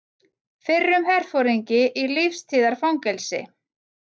Fyrrum herforingi í lífstíðarfangelsi